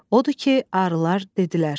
Odur ki, arılar dedilər: